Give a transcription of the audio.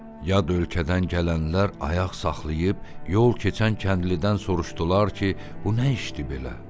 Yad ölkədən gələnlər ayaq saxlayıb yol keçən kəndlidən soruşdular ki, bu nə işdir belə?